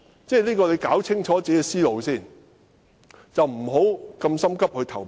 他要先弄清楚自己的思路，不要急於投票。